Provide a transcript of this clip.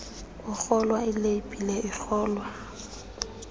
kuhlolwa ileyibhile ihlolwa